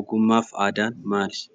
Ogummaa fi aadaan maali?